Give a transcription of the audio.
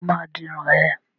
Sọ ma di irun ẹ?